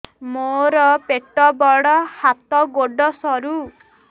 ମୋର ପେଟ ବଡ ହାତ ଗୋଡ ସରୁ